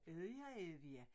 Æddja og Ævia